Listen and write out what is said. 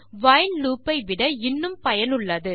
while loop ஐ விட இன்னும் பயனுள்ளது